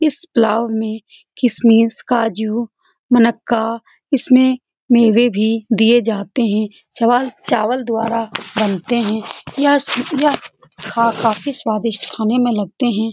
इस पुलाव में किसमस काजू मुनक्का इसमें मेवे भी दिए जाते हैं छवाल चावल द्वारा बनते हैं यह यह स काफी स्वादिष्ट खाने में लगते हैं।